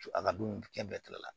A ka dun kɛ bɛɛ tigɛ la